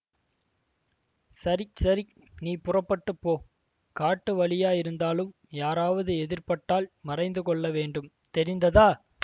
சரி சரி நீ புறப்பட்டு போ காட்டு வழியாயிருந்தாலும் யாராவது எதிர்ப்பட்டால் மறைந்து கொள்ள வேண்டும் தெரிந்ததா